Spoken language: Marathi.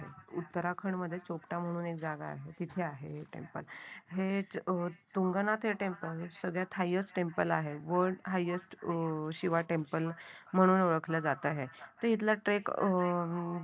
उत्तराखंडमध्ये चोपटा म्हणून एक जागा आहे. तिथे आहे हे टेम्पल हे तुंगनाथ हे टेम्पल सगळ्यात हायेस्ट टेम्पल आहे. गोल हायेस्ट शिवा टेम्पल म्हणून ओळखला जात आहे तो इथला ट्रेक अं